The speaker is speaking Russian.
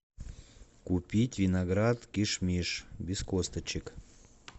купить виноград киш миш без косточек